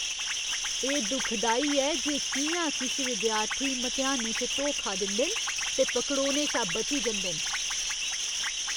एह् दुखदाई ऐ जे कि'यां किश विद्यार्थी मतेहानें च धोखा दिंदे न ते पकड़ोने शा बची जंदे न।